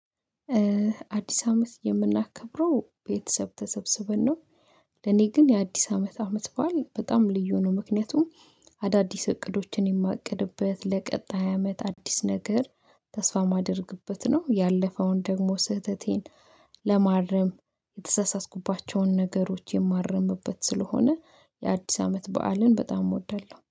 አዲስ አመት የምናከብረው ቤተሰብ ተሰብስበን ነው። ለኔ ግን የአዲስ አመት አመት በዓል በጣም ልዩ ነው። ምክንያቱም አዳዲስ እቅዶችን የማቅድበት ለቀጣይ አመት አዲስ ነገር ተስፋ የማደርግበት ነው። ያለፈውን ደግሞ ስህተቴን ለማረም የተሳሳትኩባቸውን ነገሮች የማረምበት ስለሆነ የአዲስ አመት በዓልን በጣም እወዳለሁ